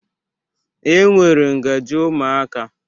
E nwere ngajị ụmụaka.